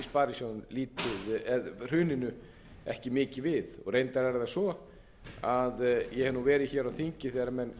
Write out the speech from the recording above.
í rauninni hruninu ekki mikið við reyndar er það svo að ég hef verið hér á þingi þegar menn